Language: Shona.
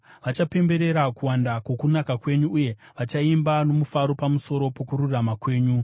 Vachapemberera kuwanda kwokunaka kwenyu, uye vachaimba nomufaro pamusoro pokururama kwenyu.